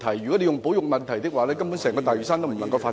如果牽涉保育問題，整個大嶼山根本無法進行發展......